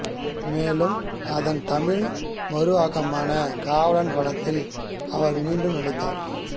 மேலும் அதன் தமிழ் மறுஆக்கமான காவலன் படத்தில் அவர் மீண்டும் நடித்தார்